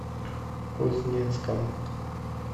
кузнецком